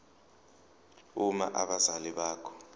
uma abazali bakho